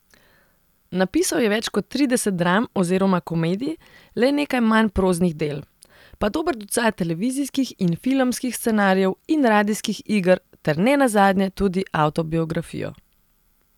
Napisal je več kot trideset dram oziroma komedij, le nekaj manj proznih del, pa dober ducat televizijskih in filmskih scenarijev in radijskih iger ter ne nazadnje tudi avtobiografijo.